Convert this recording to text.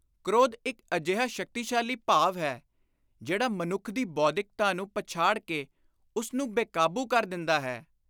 ਕ੍ਰੋਧ ਇਕ ਅਜਿਹਾ ਸ਼ਕਤੀਸ਼ਾਲੀ ਭਾਵ ਹੈ, ਜਿਹੜਾ ਮਨੁੱਖ ਦੀ ਬੌਧਿਕਤਾ ਨੂੰ ਪਛਾੜ ਕੇ ਉਸ ਨੂੰ ਬੇਕਾਬੂ ਕਰ ਦਿੰਦਾ ਹੈ।